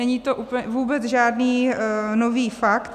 Není to vůbec žádný nový fakt.